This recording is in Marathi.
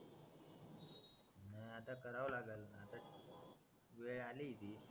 नाय आता करावं लागंल आता वेळ आली ती